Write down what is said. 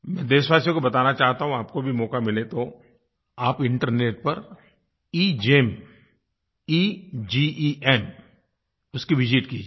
मैं देशवासियों को बताना चाहता हूँ आपको भी मौका मिले तो आप इंटरनेट पर GeM E G E M उसको विसित कीजिए